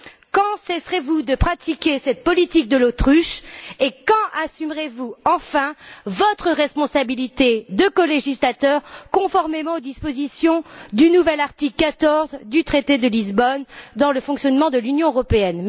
Quand cesserez vous de pratiquer cette politique de l'autruche et quand assumerez vous enfin votre responsabilité de colégislateur, conformément aux dispositions du nouvel article 14 du traité de Lisbonne sur le fonctionnement de l'Union européenne?